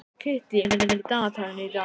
Kittý, hvað er á dagatalinu í dag?